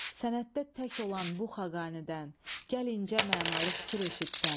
Sənətdə tək olan bu Xaqanidən, gəl incə mənalı fikir eşitsən.